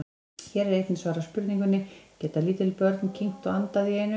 Hér er einnig svarað spurningunni: Geta lítil börn kyngt og andað í einu?